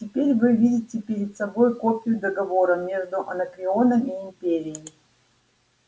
теперь вы видите перед собой копию договора между анакреоном и империей